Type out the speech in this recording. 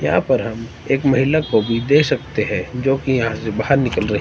यहां पर हम एक महिला को भी देख सकते हैं जो कि यहां से बाहर निकल रही--